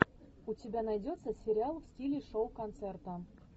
у тебя найдется сериал в стиле шоу концерта